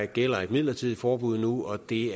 gælder et midlertidigt forbud nu og det